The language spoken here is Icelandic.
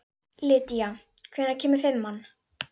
Lýdía, hvenær kemur fimman?